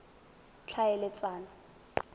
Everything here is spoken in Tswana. tlhaeletsano